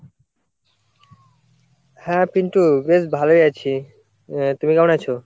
হ্যাঁ পিন্টু বেশ ভালোই আছি, তুমি কেমন আছো?